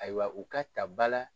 Ayiwa u ka ta ba la.